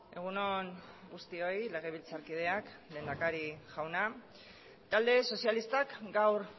egun on guztioi legebiltzarkideak lehendakari jauna talde sozialistak gaur